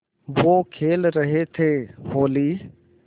वो खेल रहे थे होली